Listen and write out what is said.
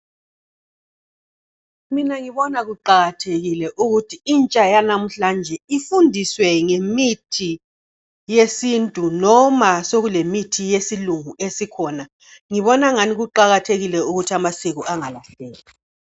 Mina ngibona kuqakathekile ukuthi intsha yanamhlanje ifundiswe ngemithi yesintu noma sekulemithi yesilungu esikhona. Ngibona angani kuqakathekile ukuthi amasiko angadelwa